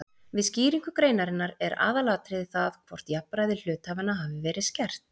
Við skýringu greinarinnar er aðalatriðið það hvort jafnræði hluthafanna hafi verið skert.